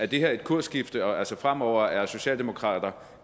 det her et kursskifte altså at fremover er socialdemokrater